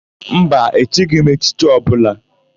Mba, echighi m echichi ọbụla.